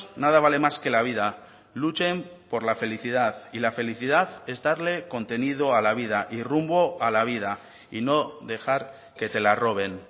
nada vale más que la vida luchen por la felicidad y la felicidad es darle contenido a la vida y rumbo a la vida y no dejar que te la roben